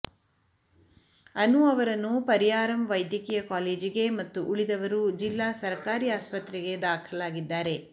ಅನು ಅವರನ್ನು ಪರಿಯಾರಂ ವೈದ್ಯಕೀಯ ಕಾಲೇಜಿಗೆ ಮತ್ತು ಉಳಿದವರು ಜಿಲ್ಲಾ ಸರಕಾರಿ ಆಸ್ಪತ್ರೆಗೆ ದಾಖಲಾಗಿದ್ದಾರೆ